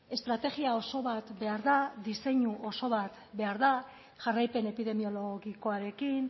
estrategia oso bat behar da diseinu oso bat behar da jarraipen epidemiologikoarekin